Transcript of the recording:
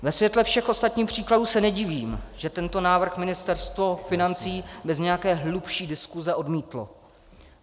Ve světle všech ostatních příkladů se nedivím, že tento návrh Ministerstvo financí bez nějaké hlubší diskuze odmítlo.